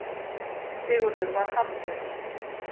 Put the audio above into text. Sigurður varð hamslaus.